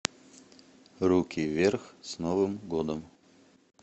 руки вверх с новым годом